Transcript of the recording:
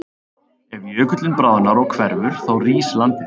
Ef jökullinn bráðnar og hverfur þá rís landið.